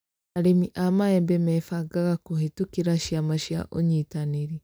Arĩmi a maembe mebangaga kũhĩtukira ciama cia ũnyitanĩri